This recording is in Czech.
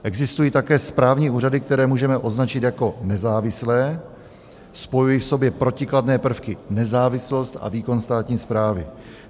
Existují také správní úřady, které můžeme označit jako nezávislé - spojují v sobě protikladné prvky, nezávislost a výkon státní správy.